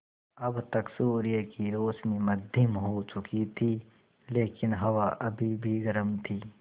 अब तक सूर्य की रोशनी मद्धिम हो चुकी थी लेकिन हवा अभी भी गर्म थी